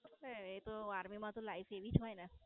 એ તો Army માં તો Life એવી જ હોય ને.